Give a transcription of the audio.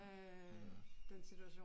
Mh